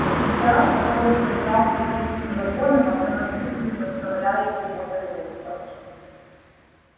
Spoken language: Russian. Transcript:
потенциал который создался третьим законом автоматически заставляет его вернуться